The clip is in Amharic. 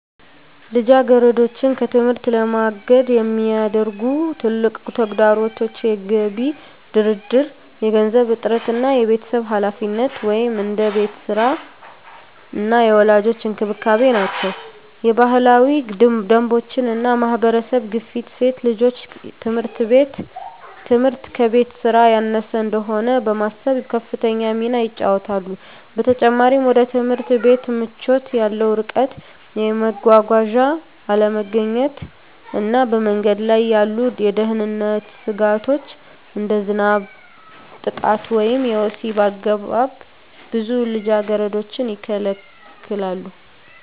ልጃገረዶችን ከትምህርት ለማገድ የሚያደርጉ ትልቁ ተግዳሮቶች የገቢ ድርድር፣ የገንዘብ እጥረት እና የቤተሰብ ኃላፊነት (እንደ የቤት ሥራ እና የወላጆች እንክብካቤ) ናቸው። የባህላዊ ደንቦች እና የማህበረሰብ ግፊት ሴት ልጆች ትምህርት ከቤት ሥራ ያነሰ እንደሆነ በማሰብ ከፍተኛ ሚና ይጫወታሉ። በተጨማሪም፣ ወደ ትምህርት ቤት ምቾት ያለው ርቀት፣ የመጓጓዣ አለመገኘት እና በመንገድ ላይ ያሉ የደህንነት ስጋቶች (እንደ ዝናብ፣ ጥቃት ወይም የወሲብ አገባብ) ብዙ ልጃገረዶችን ይከለክላሉ።